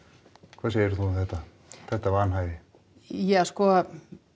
hvað segir þú um þetta þetta vanhæfi ja sko